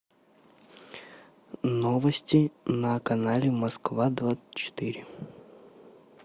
новости на канале москва двадцать четыре